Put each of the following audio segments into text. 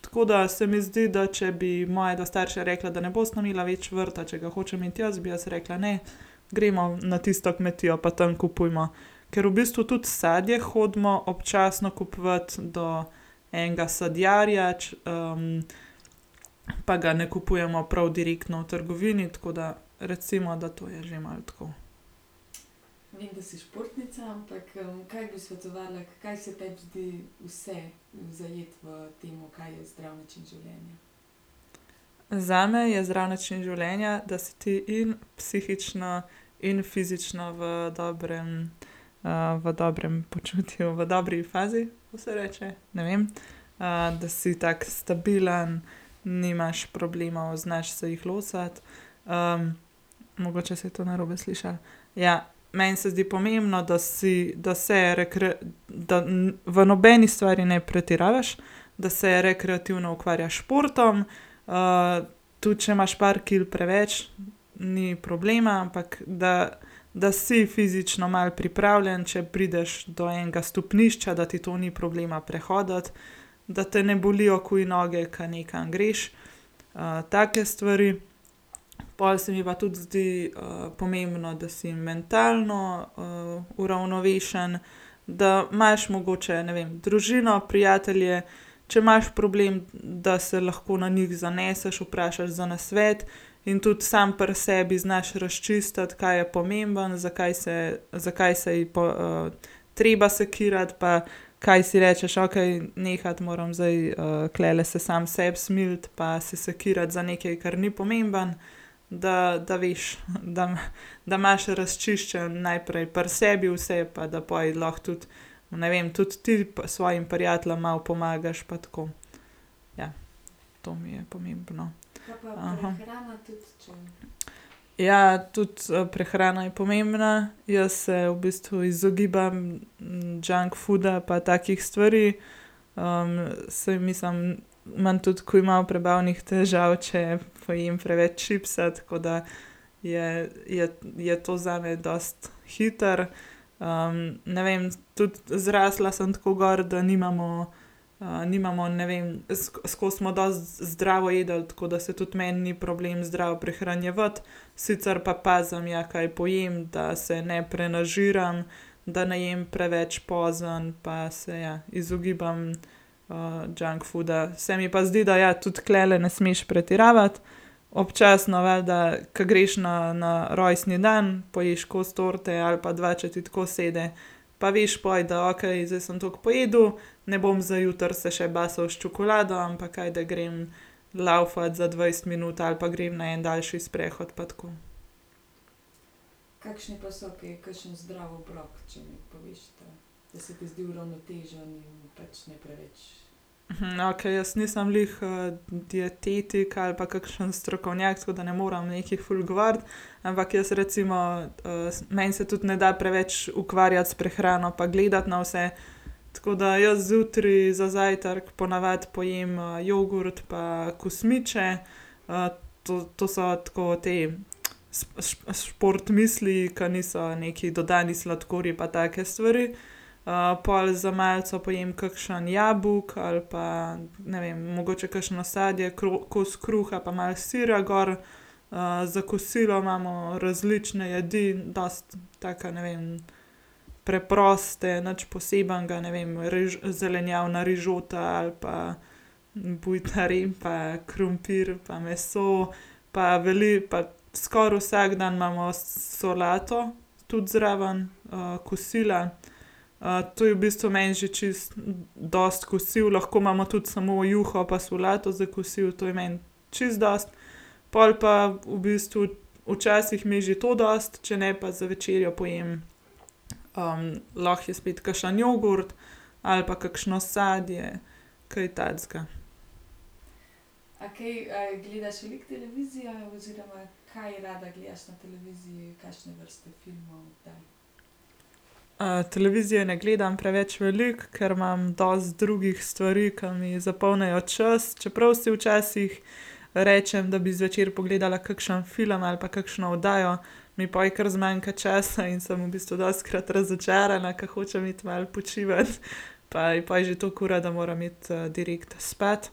Tako da se mi zdi, da če bi moje dva starša rekla, da ne bosta imela več vrta, če ga hočem imeti jaz, bi rekla, ne. Gremo na tisto kmetijo pa tam kupujemo. Ker v bistvu tudi sadje hodimo občasno kupovat do enega sadjarja, pa ga ne kupujemo prav direktno v trgovini, tako da recimo, da to je že malo tako. zame je zdrav način življenja, da si ti in psihično in fizično dobrem, v dobrem počutju, v dobri fazi. Kako se reče? Ne vem. da si tako stabilen, nimaš problemov, znaš se jih losati. mogoče se je to narobe slišalo. Ja. Meni se zdi pomembno, da si, da se da v nobeni stvari ne pretiravaš. Da se rekreativno ukvarjaš s športom. tudi, če imaš par kil preveč, ni problema, ampak da, da si fizično malo pripravljen, če prideš do enega stopnišča, da ti to ni problema prehoditi. Da te ne bolijo takoj noge, ke nekam greš, take stvari. Pol se mi pa tudi zdi, pomembno, da si mentalno, uravnovešen. Da imaš mogoče, ne vem, družino, prijatelje. Če imaš problem, da se lahko na njih zaneseš, vprašaš za nasvet. In tudi samo pri sebi znaš razčistiti, kaj je pomembno, zakaj se, zakaj saj treba sekirati pa, kaj si rečeš, okej nehati moram zdaj, tulele se sam sebi smiliti pa se sekirati za nekaj, kar ni pomembno, da, da veš, da imaš razčiščeno najprej pri sebi vse pa da pol lahko tudi, ne vem, tudi ti svojim prijateljem malo pomagaš pa tako. Ja, to mi je pomembno. Ja, tudi, prehrana je pomembna. Jaz se v bistvu izogibam junk fooda pa takih stvari. saj mislim, imam tudi takoj malo prebavnih težav, če pojem preveč čipsa, tako da je, je, je to zame dosti hitro. ne vem, tudi zrasla sem tako gor, da nimamo, nimamo, ne vem, skozi smo dosti zdravo jedli, tako da se tudi meni ni problem zdravo prehranjevati. Sicr pa pazim, ja, kaj pojem, da se ne prenažiram, da ne jem preveč pozno pa se, ja, izogibam, junk fooda, se mi pa zdi, da ja, tudi tulele ne smeš pretiravati. Občasno valjda, ke greš na, na rojstni dan, poješ kos torte ali pa dva, če ti tako sede. Pa veš poj, da okej, zdaj sem tako pojedel, ne bom zdaj jutri se še basal s čokolado, ampak ajde grem laufat za dvajset minut ali pa grem na en daljši sprehod pa tako. okej, jaz nisem glih, dietetik ali pa kakšen strokovnjak, tako da ne morem nekaj ful govoriti. Ampak jaz recimo, meni se tudi ne da preveč ukvarjati s prehrano pa gledati na vse, tako da jaz zjutraj za zajtrk po navadi pojem, jogurt pa kosmiče. to, to so tako ti sport misliji, ki niso neki dodani sladkorji pa take stvari. pol za malico pojem kakšno jabolko ali pa, ne vem, mogoče kakšno sadje, kos kruha pa malo sira gor. za kosilo imamo različne jedi, dosti taka, ne vem, preproste nič posebnega, ne vem, zelenjavna rižota ali pa bujta repa, krompir pa meso pa pa skoraj vsak dan imamo solato tudi zraven, kosila. to je v bistvu meni že čisto dosti kosilo, lahko imamo tudi sam juho pa solato za kosilo, to je meni čisto dosti. Pol pa v bistvu včasih mi je že to dosti, če ne pa za večerjo pojem, lahko je spet kakšen jogurt ali pa kakšno sadje kaj takega. televizije ne gledam preveč veliko, ker imam dosti drugih stvari, ke mi zapolnijo čas, čeprav si včasih rečem, da bi zvečer pogledala kakšen film ali pa kakšno oddajo, mi pol kar zmanjka časa in sem v bistvu dostikrat razočarana, ker hočem iti malo počivat. Pa je pol že tako ura, da moram iti, direkt spat.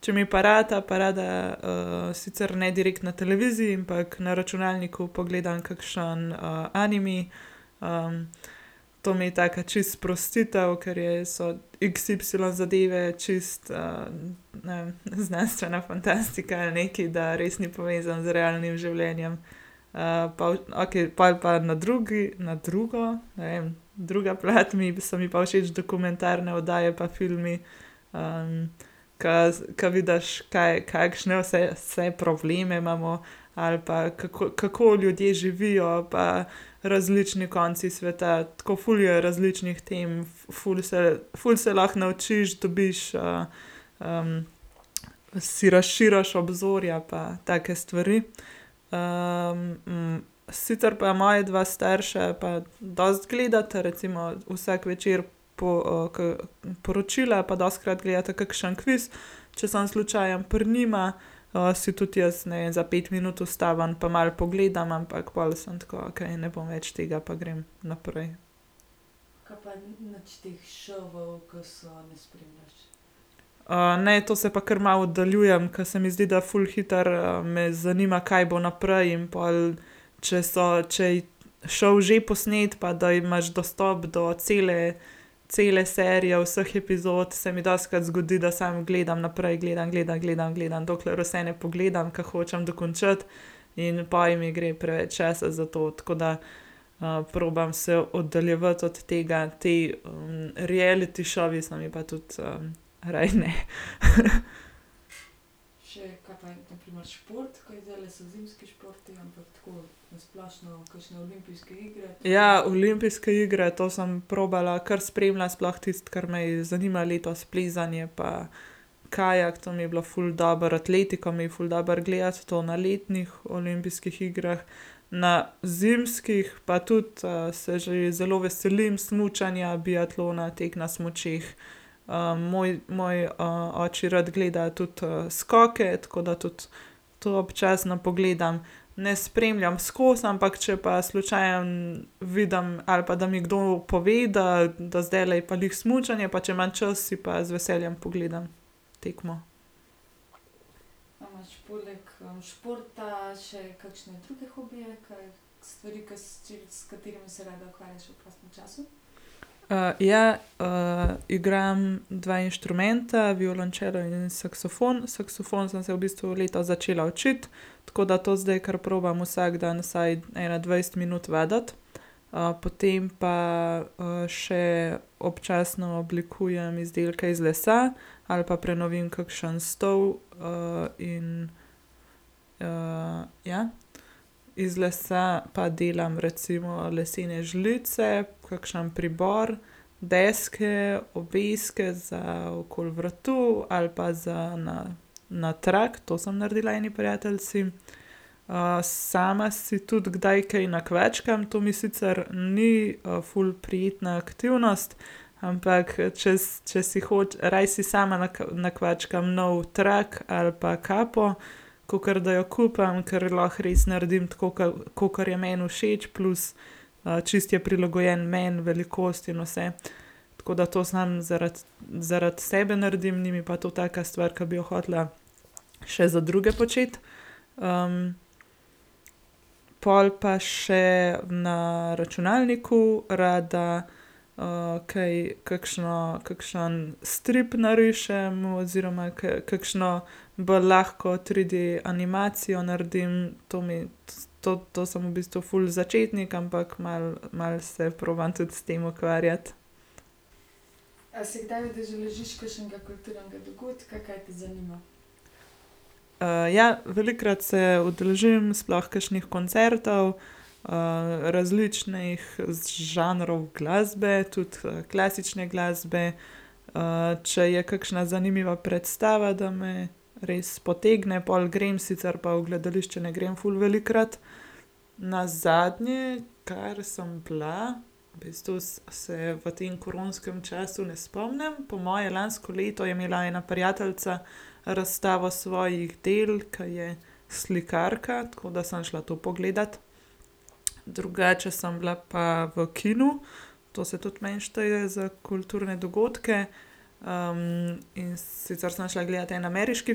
Če mi pa rata, pa rada, sicer ne direkt na televiziji, ampak na računalniku pogledam kakšno, anime. to mi je taka čisto sprostitev, ker je, so x y zadeve čisto, ne vem, znanstvena fantastika, nekaj, da res ni povezano z realnim življenjem. pa okej pol je pa na drugi na drugo, ne vem, druga plat mi so mi pa všeč dokumentarne oddaje pa filmi, ke, ke vidiš kaj, kakšne vse, vse probleme imamo ali pa kako, kako ljudje živijo pa različnih koncih sveta, tako ful je različnih tem, ful se, ful se lahko naučiš, dobiš, si razširiš obzorja pa take stvari. sicer pa moja dva starša pa dosti gledata recimo vsak večer, po, ke poročila pa dostikrat gledata kakšen kviz, če sem slučajno pri njima, si tudi jaz, ne vem, za pet minut ustavim pa malo pogledam, ampak pol sem tako, okej ne bom več tega pa grem naprej. ne, to se pa kar malo oddaljujem, ke se mi zdi, da ful hitro, me zanima, kaj bo naprej in pol, če so, če šov že posnet, pa da imaš dostop do cele, cele serije, vseh epizod, se mi dostikrat zgodi, da samo gledam naprej. Gledam, gledam, gledam, gledam, dokler vse ne pogledam, ker hočem dokončati. In pol mi gre preveč časa za to, tako da, probam se oddaljevati od tega te, reality šovi so mi pa tudi, raje ne. Ja, olimpijske igre to sem probala kar spremljati, sploh tisto, kar me je zanimalo letos, plezanje pa kajak, to mi je bilo ful dobro. Atletiko mi je ful dobro gledati, to na letnih olimpijskih igrah, na zimskih pa tudi, se že zelo veselim, smučanja, biatlona, teka na smučeh. moj, moj, oči rad gleda tudi skoke, tako da tudi to občasno pogledam. Ne spremljam skozi, ampak če pa slučajno vidim ali pa da mi kdo pove, da, da zdajle je pa glih smučanje, pa če imam čas, si pa z veseljem pogledam tekmo. ja, igram dva inštrumenta. Violončelo in saksofon. Saksofon sem se v bistvu letos začela učiti. Tako da to zdaj kar probam vsak dan vsaj ene dvajset minut vaditi. potem pa, še občasno oblikujem izdelke iz lesa. Ali pa prenovim kakšen stol, in, ja. Iz lesa pa delam recimo lesene žlice, kakšen pribor. Deske, obeske za okoli vratu ali pa za na, na trak. To sem naredila eni prijateljici. sama si tudi kdaj kaj nakvačkam. To mi sicer ni, ful prijetna aktivnost, ampak, če če si raje si sama nakvačkam nov trak ali pa kapo, kakor da jo kupim. Ker lahko res naredim tako ke, kakor je meni všeč, plus, čisto je prilagojeno meni, velikost in vse. Tako da to samo zaradi, zaradi sebe naredim. Ni mi pa to taka stvar, ki bi jo hotela še za druge početi. pol pa še na računalniku rada, kaj, kakšen, kakšen strip narišem, oziroma kakšno bolj lahko triD animacijo naredim. To mi, to, to sem v bistvu ful začetnik, ampak malo, malo se probam tudi s tem ukvarjati. ja, velikokrat se udeležim, sploh kakšnih koncertov. različnih žanrov glasbe tudi, klasične glasbe. če je kakšna zanimiva predstava, da me res potegne, pol grem, sicer pa v gledališče ne grem ful velikokrat. Nazadnje, kar sem bila, v bistvu se v tem koronskem času ne spomnim, po moje lansko leto, je imela ena prijateljica razstavo svojih del, ke je slikarka, tako da sem šla to pogledat. Drugače sem bila pa v kinu. To se tudi meni šteje za kulturne dogodke. in sicer sem šla gledat en ameriški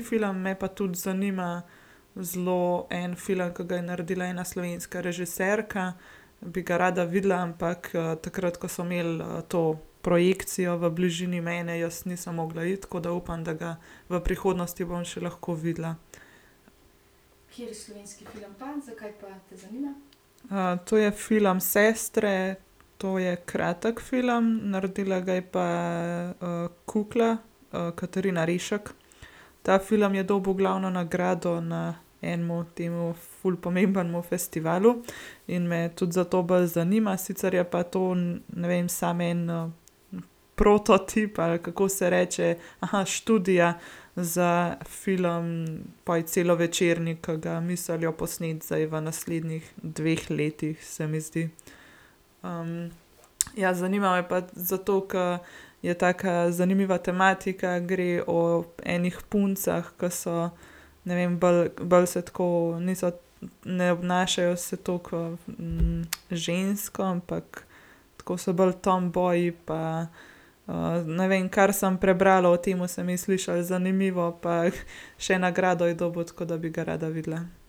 film. Me pa tudi zanima zelo en film, ke ga je naredila ena slovenska režiserka, bi ga rada videla, ampak, takrat, ke so imeli, to projekcijo v bližini mene, jaz nisem mogla iti, tako da upam, da ga v prihodnosti bom še lahko videla. to je film Sestre. To je kratki film. Naredila ga je pa, Kukla, Katarina Rešek. Ta film je dobil glavno nagrado na enem tem ful pomembnem festivalu. In me tudi zato bolj zanima, sicer je pa to, ne vem, samo en, prototip ali kako se reče, študija za film poj celovečerni, ke ga mislijo posneti zdaj v naslednjih dveh letih, se mi zdi. ja, zanima me pa zato, ke je taka zanimiva tematika. Gre o enih puncah, ke so, ne vem, bolj, bolj so tako, niso, ne obnašajo se toliko, žensko, ampak tako so bolj tomboyi pa, ne vem, kar sem prebrala o tem, se mi je slišal zanimivo pa še nagrado je dobil, tako da bi ga rada videla.